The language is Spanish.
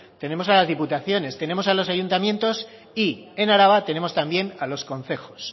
tenemos a las diputaciones tenemos a los ayuntamientos y en araba tenemos también a los concejos